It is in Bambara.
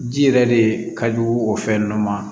Ji yɛrɛ de ka jugu o fɛn nunnu ma